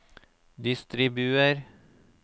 distribuer